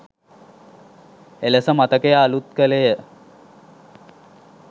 එලෙස මතකය අලූත් කළේය